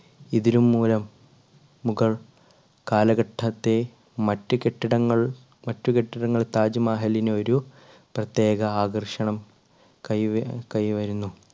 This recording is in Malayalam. ഇതിലും മൂലം മുഗൾ കാലഘട്ടത്തെ മറ്റു കെട്ടിടങ്ങൾ മറ്റു കെട്ടിടങ്ങൾ താജ്മഹലിന് ഒരു പ്രത്യേക ആകർഷണം കൈവര്~കൈവരുന്നു.